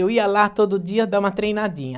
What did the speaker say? Eu ia lá todo dia dar uma treinadinha.